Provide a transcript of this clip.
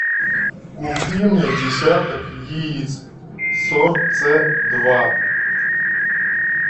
купи мне десяток яиц сорт ц два